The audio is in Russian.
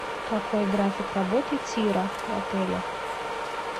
какой график работы тира в отеле